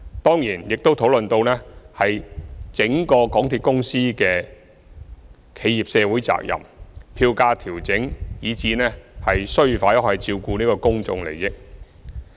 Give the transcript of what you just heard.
當然，議員亦討論到港鐵公司的企業社會責任、票價調整，以至其須否照顧公眾利益等事宜。